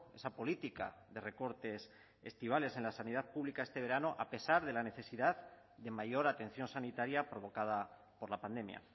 esa política de recortes estivales en la sanidad pública este verano a pesar de la necesidad de mayor atención sanitaria provocada por la pandemia